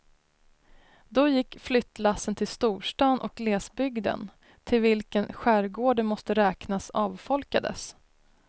Då gick flyttlassen till storstan och glesbygden, till vilken skärgården måste räknas, avfolkades.